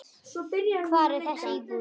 Hvar er þessi íbúð?